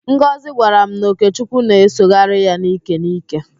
Ngozị gwara m na Okechukwu na-esogharị ya n'íkè n'íkè.